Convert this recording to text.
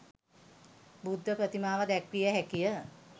බුද්ධ ප්‍රතිමාව දැක්විය හැකිය.